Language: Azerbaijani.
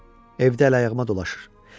Evdə əl-ayağıma dolaşır.